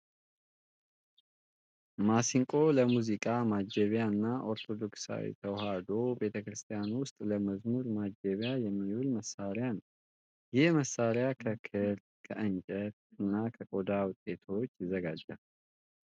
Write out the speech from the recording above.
ማሲንቆ ለሙዚቃ ማጀቢያነት እና ኦርቶዶክስ ተዋሕዶ ቤተክርስቲያን ውስጥ ለመዝሙር ማጀቢያነት የሚውል መሳሪያ ነው። ይህም መሳሪያ ከክር፣ ከእንጨት እና ከቆዳ ውጤቶች ይዘጋጃል።